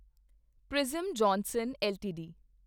prism Johnson LTD